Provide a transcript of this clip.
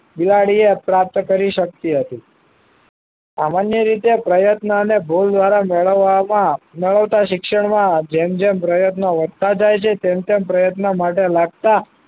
બિલાડીએ પ્રાપ્ત કરી શકતી હતી સામાન્ય રીતે પ્રયત્ન અને ભૂલ દ્વારા મેળવવામાં મેળવતા શિક્ષણમાં જેમ જેમ પ્રયત્નો વધતા જાય છે તેમ તેમ પ્રયત્ન માટે લાગતા